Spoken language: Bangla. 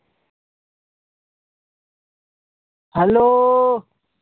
Hello?